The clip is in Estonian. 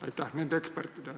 Aitäh!